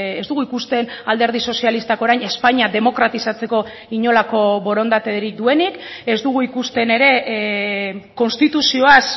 ez dugu ikusten alderdi sozialistak orain espainia demokratizatzeko inolako borondaterik duenik ez dugu ikusten ere konstituzioaz